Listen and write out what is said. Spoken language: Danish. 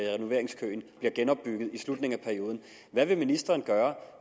renoveringskøen bliver genopbygget i slutningen af perioden hvad vil ministeren gøre